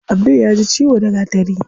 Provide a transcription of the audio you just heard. Abdul yaji ciwo da gatari.